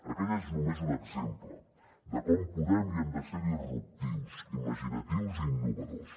aquell és només un exemple de com podem i hem de ser disruptius imaginatius i innovadors